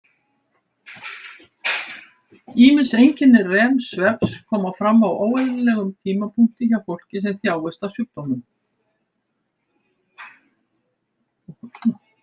Ýmis einkenni REM-svefns koma fram á óeðlilegum tímapunkti hjá fólki sem þjáist af sjúkdómnum.